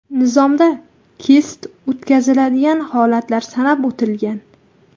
Nizomda KST o‘tkaziladigan holatlar sanab o‘tilgan.